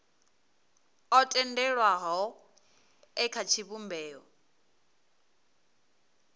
o tendelwaho e kha tshivhumbeo